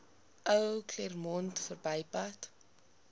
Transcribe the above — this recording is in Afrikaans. ou claremont verbypad